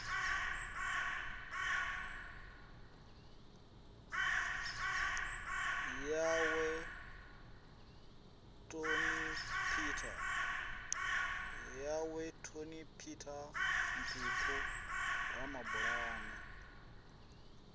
yawe toni peter mphephu ramabulana